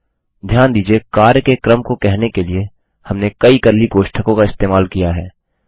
ध्यान दीजिये कार्य के क्रम को कहने के लिए हमने कई कर्ली कोष्ठकों का इस्तेमाल किया है